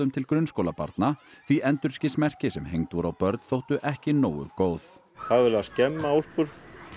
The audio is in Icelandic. til grunnskólabarna því endurskinsmerki sem hengd voru á börn þóttu ekki nógu góð það var verið að skemma úlpur